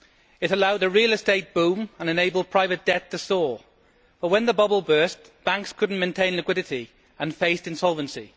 It allowed the real estate boom and enabled private debt to soar but, when the bubble burst, banks could not maintain liquidity and faced insolvency.